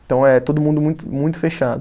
Então é todo mundo muito muito fechado.